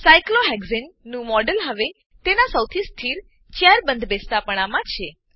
સાયક્લોહેક્સાને cyclohexane નું model હવે તેનાં સૌથી સ્થિર ચેર બંધબેસતાપણામાં છે